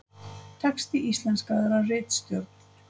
Texti íslenskaður af ritstjórn.